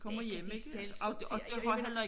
Det kan de selv sortere og jeg mener